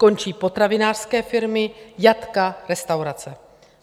Končí potravinářské firmy, jatka, restaurace.